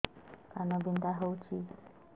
କାନ ବିନ୍ଧା ହଉଛି